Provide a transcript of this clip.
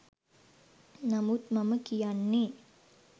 නමුත් මම කියන්නේ